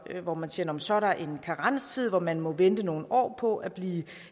hvor man siger at så er der en karenstid hvor man må vente nogle år på at blive